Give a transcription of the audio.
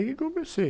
Aí eu comecei.